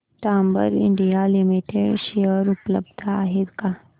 Dabur India limited share उपलब्ध आहेत का